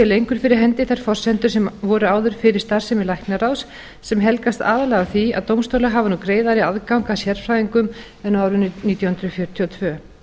lengur fyrir hendi þær forsendur sem voru áður fyrir starfsemi læknaráðs sem helgast aðallega af því að dómstólar hafa nú greiðari aðgang að sérfræðingum en árið nítján hundruð fjörutíu og tvö